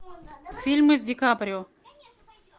фильмы с ди каприо